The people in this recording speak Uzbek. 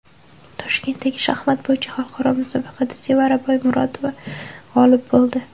Toshkentdagi shaxmat bo‘yicha xalqaro musobaqada Sevara Boymurotova g‘olib bo‘ldi.